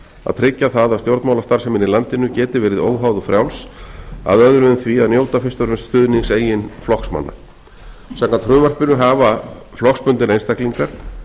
að tryggja það að stjórnmálstarfsemin í landinu geti verið óháð og frjáls að öðru en því að njóta fyrst og fremst stuðnings eigin flokksmanna samkvæmt frumvarpinu hafa flokksbundnir einstaklingar